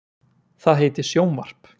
Það heitir sjónvarp.